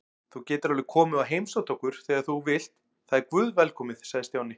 Þú getur alveg komið og heimsótt okkur þegar þú vilt, það er guðvelkomið sagði Stjáni.